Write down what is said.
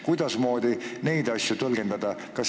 Kuidasmoodi neid asja tõlgendada?